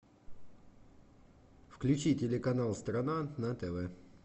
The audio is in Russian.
включи телеканал страна на тв